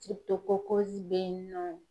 bɛ yen nɔ.